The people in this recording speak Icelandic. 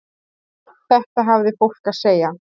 Þetta hafði fólk að segja.